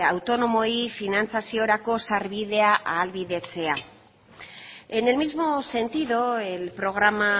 autonomoei finantzaziorako sarbidea ahalbidetzea en el mismo sentido el programa